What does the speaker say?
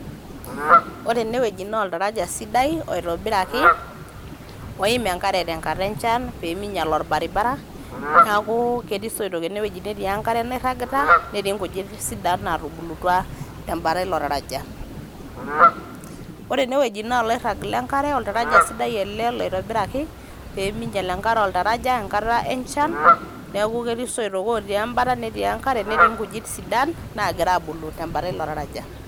ore ene wueji naa oltaraja sidai oitobiraki oim enkare tenkata enchan peminyial orbaribara niaku ketii isoitok ene wueji ene wueji netii enkare nairagita. netii nkujit sidan natubultua tembata ilo taraja. ore ene wueji naa oloirag le enkare ,oltaraja sidai ele loitobiraki peminyial enkare oltaraja enkata enchan neku ketii soitok otii embata netii nkjujit sidan nagira abulu tembata ilo taraja